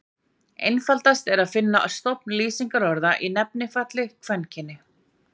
Einfaldast er að finna stofn lýsingarorða í nefnifalli kvenkyni.